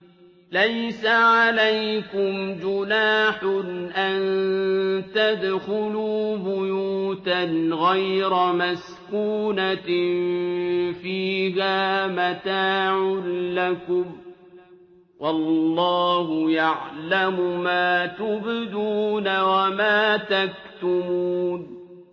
لَّيْسَ عَلَيْكُمْ جُنَاحٌ أَن تَدْخُلُوا بُيُوتًا غَيْرَ مَسْكُونَةٍ فِيهَا مَتَاعٌ لَّكُمْ ۚ وَاللَّهُ يَعْلَمُ مَا تُبْدُونَ وَمَا تَكْتُمُونَ